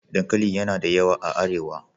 Dankali yana da yawa a Arewa.